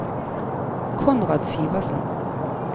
Konrad Syversen